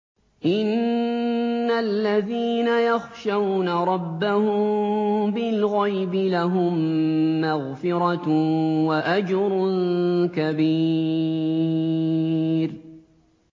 إِنَّ الَّذِينَ يَخْشَوْنَ رَبَّهُم بِالْغَيْبِ لَهُم مَّغْفِرَةٌ وَأَجْرٌ كَبِيرٌ